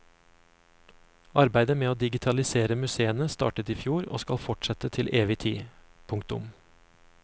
Arbeidet med å digitalisere museene startet i fjor og skal fortsette til evig tid. punktum